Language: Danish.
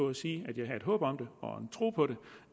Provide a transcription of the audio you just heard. at sige at jeg havde et håb om og en tro på